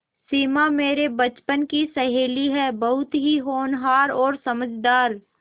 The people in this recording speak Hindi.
सिमा मेरे बचपन की सहेली है बहुत ही होनहार और समझदार